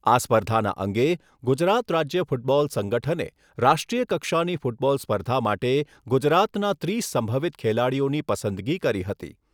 આ સ્પર્ધાના અંગે ગુજરાત રાજ્ય ફૂટબોલ સંગઠને, રાષ્ટ્રીય કક્ષાની ફૂટબોલ સ્પર્ધા માટે ગુજરાતના ત્રીસ સંભવિત ખેલાડીઓની પસંદગી કરી હતી.